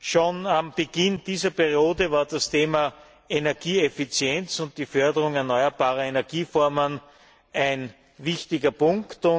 Schon zu Beginn dieser Periode war das Thema Energieeffizienz und Förderung erneuerbarer Energieformen ein wichtiger Punkt.